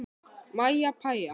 Mæja pæja.